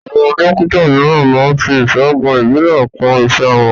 Àwọn Dókítà mìíràn máá ń fi ìṣègùn ìbílẹ̀ kún iṣẹ́ wọn